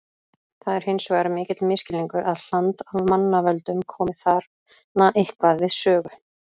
Það er hins vegar mikill misskilningur að hland af mannavöldum komi þarna eitthvað við sögu.